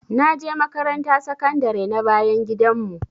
Naje makaranta sakandare na bayan gidan mu